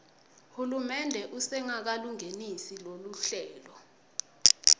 hulumende usengakalungenisi loluhlelo